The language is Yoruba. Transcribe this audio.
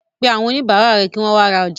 Pé àwọn oníbàárà rẹ̀ kí wọ́n wa ra ọjà.